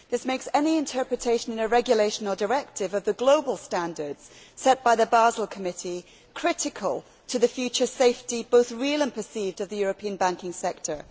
This makes any interpretation in a regulation or directive of the global standards set by the Basel Committee critical to the future safety, both real and perceived, of the European banking sector.